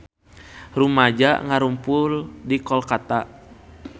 Rumaja ngarumpul di Kolkata